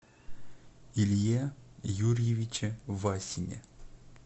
илье юрьевиче васине